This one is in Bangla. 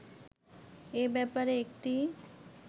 এ ব্যাপারে একটি